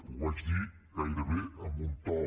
ho vaig dir gairebé amb un to